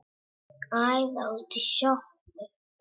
Æða út í sjoppu!